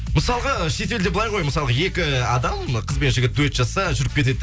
мысалғы шетелде былай ғой мысалғы екі адам қыз бен жігіт дуэт жасаса жүріп кетеді да